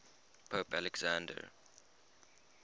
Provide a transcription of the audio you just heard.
pope alexander